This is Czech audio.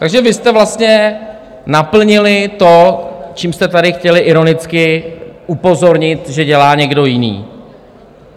Takže vy jste vlastně naplnili to, čím jste tady chtěli ironicky upozornit, že dělá někdo jiný.